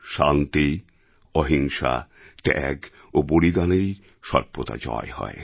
শান্তি অহিংসা ত্যাগ ও বলিদানেরই সর্বদা জয় হয়